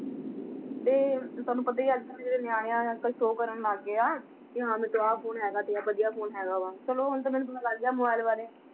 ਤੇ ਤੁਹਾਨੂੰ ਪਤਾ ਹੀ ਹੈ ਅੱਜ ਕੱਲ੍ਹ ਦੇ ਜਿਹੜੇ ਨਿਆਣੇ ਆਂ ਅੱਜ ਕੱਲ੍ਹ show ਕਰਨ ਲੱਗ ਗਏ ਆ, ਕਿ ਹਾਂ ਮੇਰੇ ਕੋਲ ਆਹ phone ਤੇ ਵਧੀਆ phone ਹੈਗਾ ਵਾ, ਚਲੋ ਹੁਣ ਤਾਂ ਮੈਨੂੰ ਪਤਾ ਲੱਗ ਗਿਆ mobile ਬਾਰੇ।